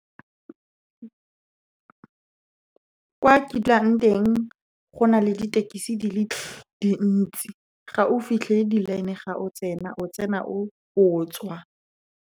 Fa ke dulang teng, go na le ditekisi di le dintsi. Ga o fitlhele di-line, ga o tsena o tswa.